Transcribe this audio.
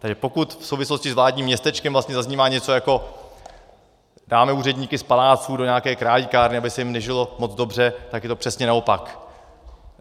Takže pokud v souvislosti s vládním městečkem vlastně zaznívá něco jako "Dáme úředníky z paláců do nějaké králíkárny, aby se jim nežilo moc dobře", tak je to přesně naopak.